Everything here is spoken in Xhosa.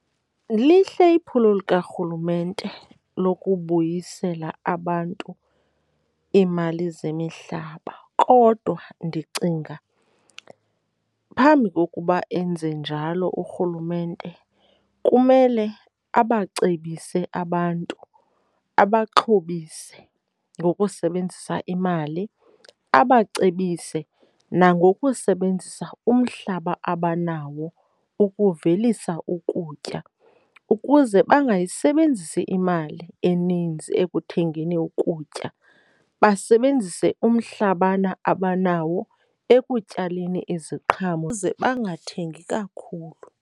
Lihle iphulo likarhulumente lokubuyisela abantu iimali zemihlaba kodwa ndicinga phambi kokuba enze njalo urhulumente, kumele abacebise abantu abaxhobise ngokusebenzisa imali. Abacebise nangokusebenzisa umhlaba abanawo ukuvelisa ukutya ukuze bangayisebenzisa imali eninzi ekuthengeni ukutya, basebenzise umhlabana abanawo ekutyaleni iziqhamo ze bangathengi kakhulu.